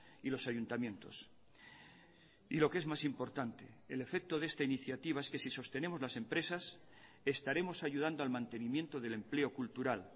y los ayuntamientos y lo que es más importante el efecto de esta iniciativa es que si sostenemos las empresas estaremos ayudando al mantenimiento del empleo cultural